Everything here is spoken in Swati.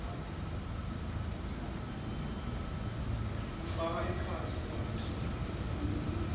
kufaka ekhatsi lwati